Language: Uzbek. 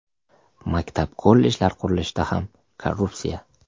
Maktab, kollejlar qurilishida ham korrupsiya.